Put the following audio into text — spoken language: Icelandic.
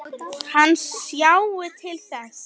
Hann sjái til þess.